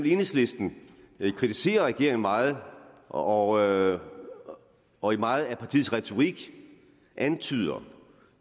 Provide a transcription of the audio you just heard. enhedslisten kritiserer regeringen meget og og i meget af partiets retorik antyder